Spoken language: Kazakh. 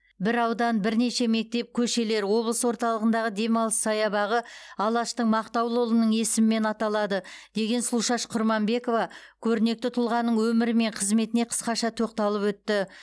бір аудан бірнеше мектеп көшелер облыс орталығындағы демалыс саябағы алаштың мақтаулы ұлының есімімен аталады деген сұлушаш құрманбекова көрнекті тұлғаның өмірі мен қызметіне қысқаша тоқталып өтті